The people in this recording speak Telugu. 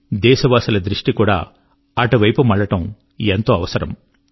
దేశవాసుల దృష్టి కూడా అటువైపు మళ్ళడం ఎంతో అవసరం